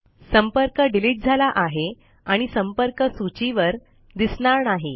संपर्क डिलीट झाला आहे आणि संपर्क सूची वर दिसणार नाही